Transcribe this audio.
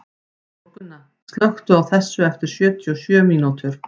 Þórgunna, slökktu á þessu eftir sjötíu og sjö mínútur.